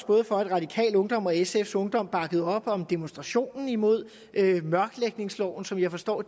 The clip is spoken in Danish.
både radikal ungdom og sf ungdom bakkede op om demonstrationen imod mørklægningsloven som jeg forstår